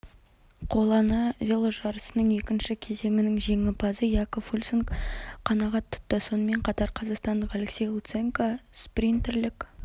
қоланы веложарысның екінші кезеңінің жеңімпазы якоб фульсанг қанағат тұтты сонымен қатар қазақстандық алексей луценко спринтерлік